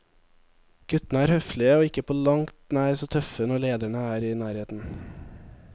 Guttene er høflige og ikke på langt nær så tøffe når lederne er i nærheten.